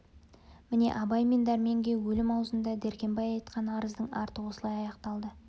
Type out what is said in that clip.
міне абай мен дәрменге өлім аузында дәркембай айтқан арыздың арты осылай аяқталды